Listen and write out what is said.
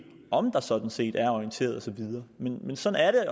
om der sådan set er orienteret og så videre men sådan er det